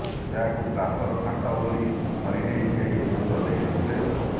ଏହାକୁ ପ୍ଲାଷ୍ଟର୍ ଫାଟ ବୋଲି ଧରିନେଇ କେହି ଗୁରୁତ୍ୱ ଦେଇ ନଥିଲେ